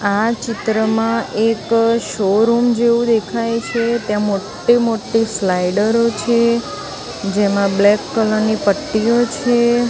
આ ચિત્રમાં એક શોરુમ જેવુ દેખાય છે ત્યાં મોટ્ટી મોટ્ટી સ્લાઇડરો છે જેમા બ્લેક કલર ની પટ્ટીઓ છે.